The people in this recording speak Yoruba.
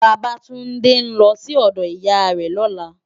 Babatunde n lò si òdò Iyá rè lòlá